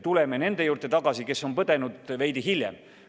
Neid, kes on põdenud, võiks vaktsineerida veidi hiljem.